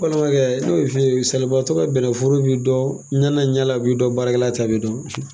N balimakɛ n bi min f'i ye salibatɔ ka bɛnnɛforo b'i dɔn ɲɛna ɲɛna baarakɛla ta b'i dɔn baarala ta bi dɔn.